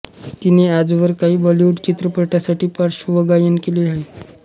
तिने आजवर काही बॉलिवूड चित्रपटासाठी पार्श्वगायन केले आहे